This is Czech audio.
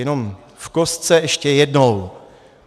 Jenom v kostce ještě jednou.